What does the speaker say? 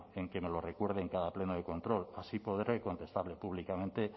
en que me lo recuerde en cada pleno de control así podré contestarle públicamente